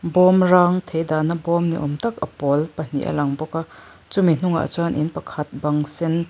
bawmrang thei dahna bawm ni awm tak a pawl pahnih a lang bawka chumi hnungah chuan in pakhat bang sen--